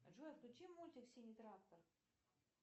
джой включи мультик синий трактор